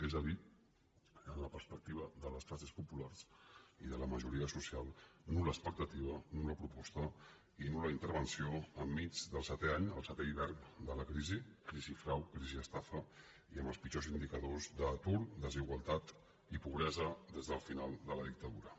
és a dir en la pers·pectiva de les classes populars i de la majoria social nulenmig del setè any el setè hivern de la crisi crisi frau crisi estafa i amb els pitjors indicadors d’atur desigualtat i pobresa des del final de la dictadura